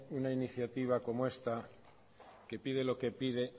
una iniciativa como esta que pide lo que pide